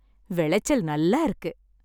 விளைச்சல் நல்லா இருக்கு!